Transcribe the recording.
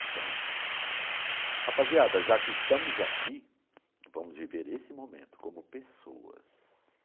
Então, rapaziada, já que estamos aqui, vamos viver esse momento como pessoas.